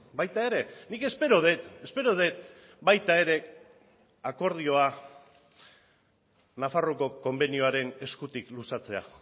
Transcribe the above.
baita ere nik espero dut espero dut baita ere akordioa nafarroako konbenioaren eskutik luzatzea